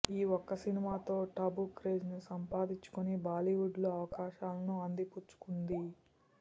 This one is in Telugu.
ఈ ఒక్క సినిమాతో టబు క్రేజ్ సంపాదించుకుని బాలీవుడ్లో అవకాశాలను అందిపుచ్చుకుంది